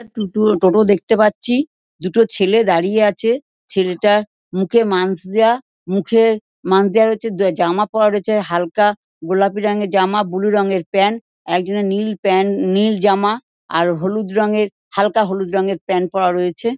দুটো টোটো দেখতে পাচ্ছি। দুটো ছেলে দাঁড়িয়ে আছে। ছেলেটার মুখে ম্যন্স দেওয়া মুখে ম্যন্স দেওয়া রয়েছে জামা পরা রয়েছে। হালকা গোলাপি রঙের জামা ব্লু রঙের প্যান্ট একজনের নীল প্যান্ট নীল জামা আর হলুদ রঙের হালকা হলুদ রঙের প্যান্ট পরা রয়েছে।